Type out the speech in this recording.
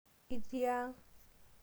Itii ang?